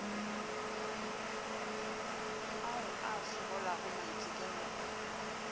ao a fokolago maitekelo a